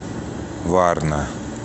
варна